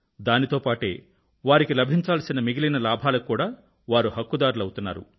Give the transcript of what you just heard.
దానితో పాటే వారికి లభించాల్సిన మిగిలిన లాభాలకు కూడా వారు హక్కుదారులవుతున్నారు